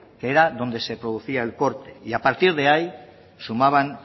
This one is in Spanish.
que era donde se producía el corte y a partir de ahí sumaban